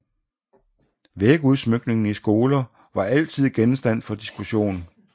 Vægudsmykningen i skoler var altid genstand for diskussion